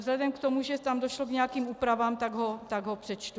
Vzhledem k tomu, že tam došlo k nějakým úpravám, tak ho přečtu.